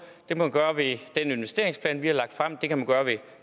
kan man gøre ved den investeringsplan vi har lagt frem det kan man gøre ved